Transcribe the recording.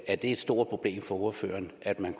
er det et stort problem for ordføreren at man